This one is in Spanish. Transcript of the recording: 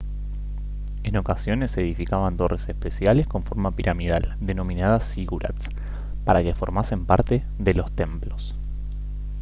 en ocasiones se edificaban torres especiales con forma piramidal denominadas zigurats para que formasen parte de los templos